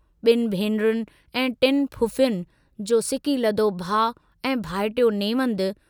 बिन भेनरुनि ऐं टिन फुफुयुनि जो सिकीलधो भाउ ऐं भाइटियो नेवंदु।